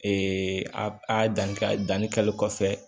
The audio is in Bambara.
a a dan danni kɛli kɔfɛ